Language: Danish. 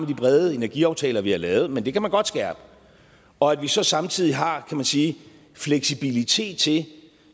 de brede energiaftaler vi har lavet men det kan man godt skærpe og at vi så samtidig har kan man sige fleksibilitet til